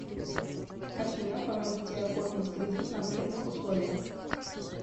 афина помогите оформить кредит на выгодных условиях